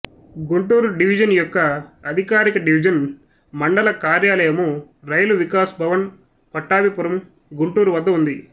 Guntur division మొక్క అధికారిక division మండల కార్యాలయము రైలు వికాస్ భవన్ పట్టాభిపురం గుంటూరు వద్ద ఉంది